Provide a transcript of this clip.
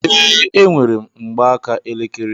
Ee, enwerem mgbaaka elekere